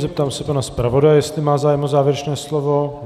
Zeptám se pana zpravodaje, jestli má zájem o závěrečné slovo.